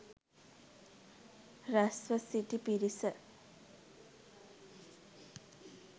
රැස්ව සිටි පිරිස